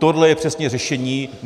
Tohle je přesně řešení.